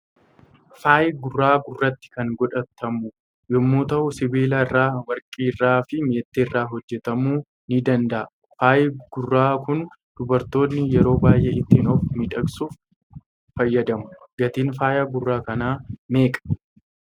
Faayi gurra gurratti kan godhatamu yommuu ta'u sibiila irra ,warqii irraa fi meeti irraa hojjetamu ni danda'a faayi gurra Kun dubartoonni yeroo baay'ee ittin of miidhagsuuf fayyadamu ,Gaatin faaya gurra kana meeqa?